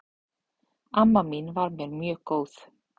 Amma mín var mér mjög góð.